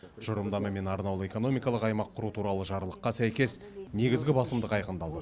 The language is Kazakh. тұжырымдама мен арнаулы экономикалық аймақ құру туралы жарлыққа сәйкес негізгі басымдық айқындалды